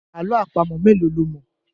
Àlọ́ àpamọ̀ mélòó lo mọ̀.